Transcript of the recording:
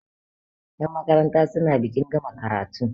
yanmakaranta suna bikin gama karatu